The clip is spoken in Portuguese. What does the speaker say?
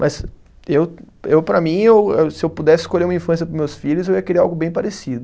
Mas eu, eu para mim, eu se eu pudesse escolher uma infância para os meus filhos, eu ia querer algo bem parecido.